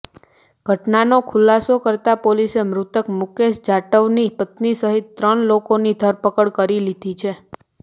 ઘટનાનો ખુલાસો કરતા પોલીસે મૃતક મુકેશ જાટવની પત્ની સહિત ત્રણ લોકોની ધરપકડ કરી લીધી છે